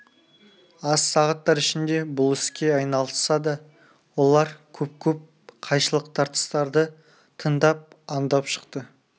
аз сағаттар ішінде бұл іске айналысса да олар көп-көп қайшылық тартыстарды тыңдап андап шықты